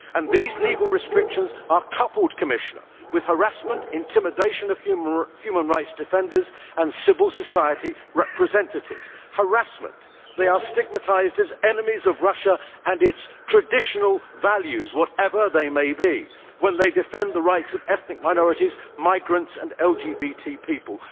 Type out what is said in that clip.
These legal restrictions are coupled with harassment, intimidation of human rights defenders and civil society representatives. Harassment they are stigmatised as enemies of Russia and its traditional values whatever they may be when they defend the rights of ethnic minorities, migrants and LTBT people.